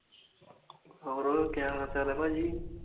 ਹੋਰ ਕਿਆ ਹਾਲ ਚਾਲ ਆ ਭਾਜੀ